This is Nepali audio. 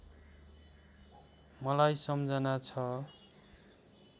मलाई सम्झना छ